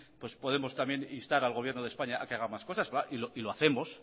podemos instar al gobierno de españa a que haga más cosas y lo hacemos